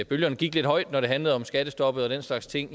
bølgerne gik lidt højt når det handlede om skattestoppet og den slags ting